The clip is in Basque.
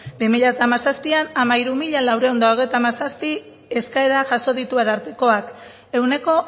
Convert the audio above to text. bi mila hamazazpian hamairu mila laurehun eta hogeita hamazazpi eskaera jaso ditu arartekoak ehuneko